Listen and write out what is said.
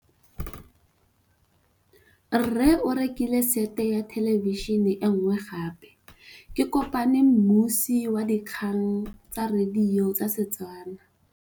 Rre o rekile sete ya thêlêbišênê e nngwe gape. Ke kopane mmuisi w dikgang tsa radio tsa Setswana.